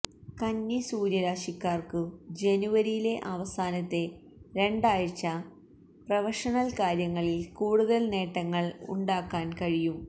കന്നി സൂര്യരാശിക്കാർക്കു ജനുവരിയിലെ അവസാനത്തെ രണ്ടാഴ്ച പ്രഫഷനൽ കാര്യങ്ങളിൽ കൂടുതൽ നേട്ടങ്ങൾ ഉണ്ടാക്കാൻ കഴിയും